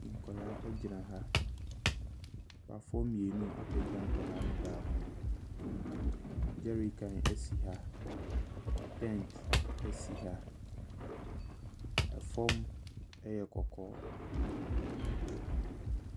Nkwadaa gyina ha. Papafoɔ mmienu apagya nkwadaa no baako. Jerrycan si ha, tent si ha. Fam yɛ kɔkɔɔ.